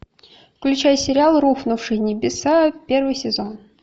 включай сериал рухнувшие небеса первый сезон